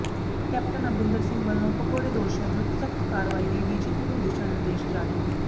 captain Amarinder Singh ਵੱਲੋਂ ਭਗੌੜੇ ਦੋਸ਼ੀਆਂ ਵਿਰੁੱਧ ਸਖ਼ਤ ਕਾਰਵਾਈ ਲਈ ਡੀਜੀਪੀ ਨੂੰ ਦਿਸ਼ਾ ਨਿਰਦੇਸ਼ ਜਾਰੀ